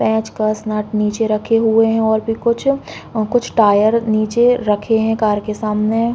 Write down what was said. पेचकस नट नीचे रखे हुए हैं और भी कुछ और कुछ टायर नीचे रखे हैं कार के सामने --